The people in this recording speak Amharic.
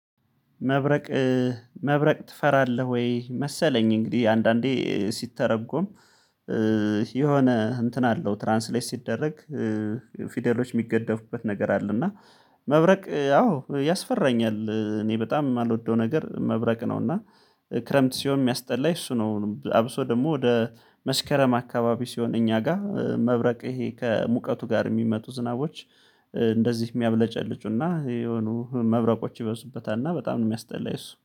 መብረቅ መብረቅ ትፈራለህ ወይ? መሰለኝ እንግዲህ አንዳንዴ ሲተረጎም የሆነ እንትን አለው ትራንስሌት ሲደረግ ፊደሎች የሚገደፉበት ነገር አለ። እና መብረቅ ያው ያስፈራኛል እኔ በጣም የማልወደው ነገር መብረቅ ነው። እና ክረምት ሲሆን የሚያስጠላኝ እሱ ነው። አብሶ ደግሞ ወደ መስከረም አካባቢ ሲሆን እኛ ጋር መብረቅ ይሄ ከሙቀቱ ጋር የሚመጡ ዝናቦች እንደዚህ የሚያብለጨልጩና የሆኑ መብረቆች ይበዙበታልና በጣም ነው የሚያስጠላኝ እሱ